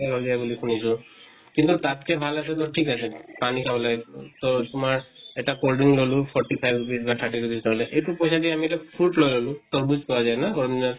বুলি শুনিছো। কিন্তু তাত্কে ভাল আছে তʼ ঠিক আছে পানী খাবলৈ তʼ তোমাৰ এটা cold drink ললো forty five rupees বা thirty rupees ললে। এইটো পইছা দি আমি এটা fruit লৈ ললো। তৰ্বুজ পোৱা যায় ন গৰম দিনত?